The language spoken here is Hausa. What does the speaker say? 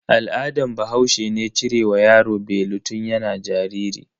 Al'adan bahaushe ne cire wa yaro belu tun yana jariri.